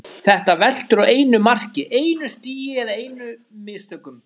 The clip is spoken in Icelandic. Þetta veltur á einu mark, einu stigi eða einum mistökum.